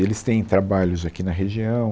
Eles têm trabalhos aqui na região.